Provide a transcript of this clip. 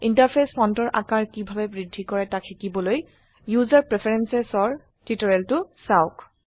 interface ফন্টৰ আকাৰ কিভাবে বৃদ্ধি কৰে তাক শিকিবলৈ ইউসাৰ প্ৰেফাৰেন্সেসৰ টিউটোৰিয়েলটো চাওক